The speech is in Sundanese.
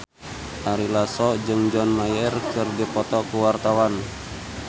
Ari Lasso jeung John Mayer keur dipoto ku wartawan